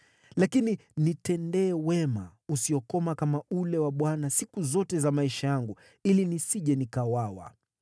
Lakini nitendee wema usiokoma kama ule wa Bwana siku zote za maisha yangu, ili nisije nikauawa,